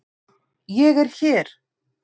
ÉG ER HÉR!